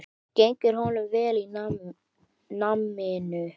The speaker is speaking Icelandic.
Gengur honum vel í náminu?